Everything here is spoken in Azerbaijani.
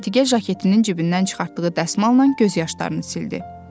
Əntiqə jaketinin cibindən çıxartdığı dəsmalla göz yaşlarını sildi.